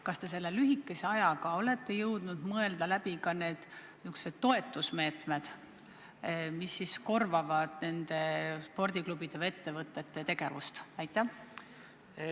Kas te selle lühikese ajaga olete jõudnud mõelda läbi ka need toetusmeetmed, mis korvavad nendele spordiklubidele või ettevõtetele kahjud?